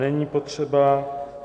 Není potřeba.